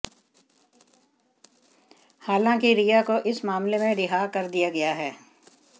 हालांकि रिया को इस मामले में रिहा कर दिया गया है